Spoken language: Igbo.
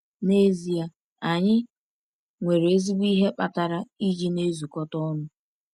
N’ezie, anyị nwere ezigbo ihe kpatara iji na-ezukọta ọnụ.